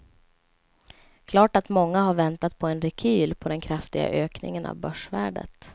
Klart är att många har väntat på en rekyl på den kraftiga ökningen av börsvärdet.